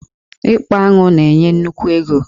Ịkpa aṅụ na-enye nnukwu ego.